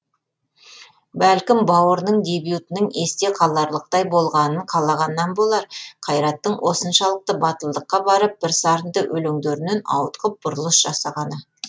бәлкім бауырының дебютінің есте қаларлықтай болғанын қалағаннан болар қайраттың осыншалықты батылдыққа барып бірсарынды өлеңдерінен ауытқып бұрылыс жасағаны